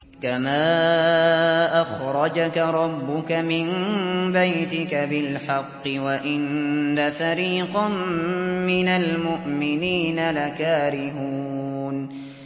كَمَا أَخْرَجَكَ رَبُّكَ مِن بَيْتِكَ بِالْحَقِّ وَإِنَّ فَرِيقًا مِّنَ الْمُؤْمِنِينَ لَكَارِهُونَ